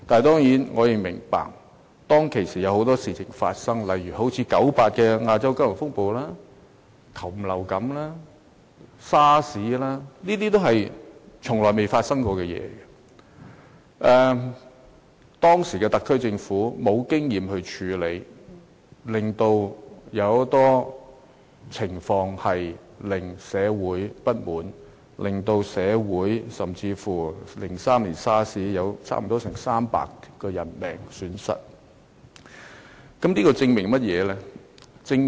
當然，我們亦要明白，當時發生了很多事情，例如1998年的亞洲金融風暴、禽流感、SARS 等，這些事情我們從來沒有遇過，所以當時的特區政府亦沒有經驗處理，以致出現各種狀況，引起社會不滿，例如在2003年發生 SARS 疫情，香港便損失了差不多300條人命。